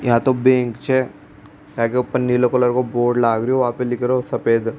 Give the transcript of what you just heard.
यहाँ तो बैंक छे यहाँ के ऊपर नीले कलर का बोर्ड लाग रो जा पे लिख रो सफेद।